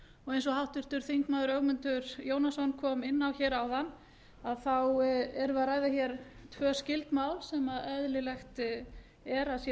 eins og háttvirtur þingmaður ögmundur jónasson kom inn á hér áðan erum við að ræða hér tvö skyld mál sem eðlilegt er að sé